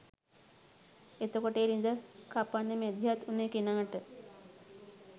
එතකොට ඒ ළිඳ කපන්න මැදිහත් වුණ කෙනාට